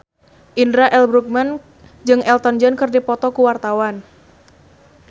Indra L. Bruggman jeung Elton John keur dipoto ku wartawan